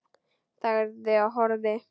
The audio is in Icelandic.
Þagði og horfði.